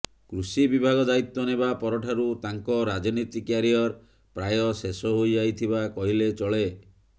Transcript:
କୃଷି ବିଭାଗ ଦାୟିତ୍ୱ ନେବା ପରଠାରୁ ତାଙ୍କ ରାଜନୀତି କ୍ୟାରିୟର ପ୍ରାୟ ଶେଷ ହୋଇଯାଇଥିବା କହିଲେ ଚଳେ